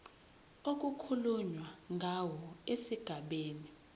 okukhulunywe ngawo esigabeni